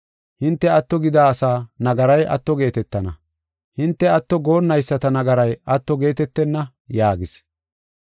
Hinte atto gida asaa nagaray atto geetetana. Hinte atto goonnayisata nagaray atto geetetenna” yaagis.